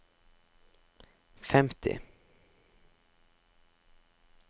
femti